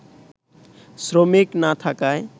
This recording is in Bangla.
শ্রমিক না থাকায়